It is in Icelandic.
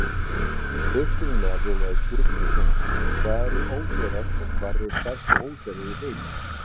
Upprunalega hljóðaði spurningin svona: Hvað eru óseyrar og hvar eru stærstu óseyrar í heimi?